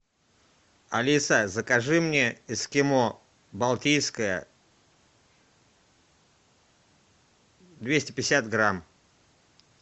алиса закажи мне эскимо балтийское двести пятьдесят грамм